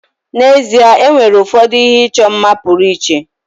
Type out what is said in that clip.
N'ezie, e nwere ụfọdụ ihe ịchọ mma pụrụ iche.